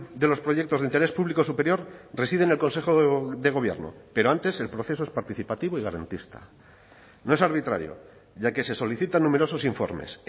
de los proyectos de interés público superior reside en el consejo de gobierno pero antes el proceso es participativo y garantista no es arbitrario ya que se solicita numerosos informes